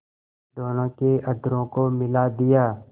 दोनों के अधरों को मिला दिया